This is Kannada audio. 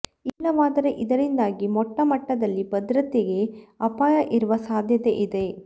ಇಲ್ಲವಾದರೆ ಇದರಿಂದಾಗಿ ಮೊಟ್ಟ ಮಟ್ಟದಲ್ಲಿ ಭದ್ರತೆಗೆ ಅಪಾಯ ಇರುವ ಸಾಧ್ಯತೆ ಇದೆ